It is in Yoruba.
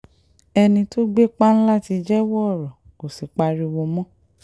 ẹni tó gbé páńlá ti jẹ́wọ́ ọrọ̀ kò sì pariwo mọ́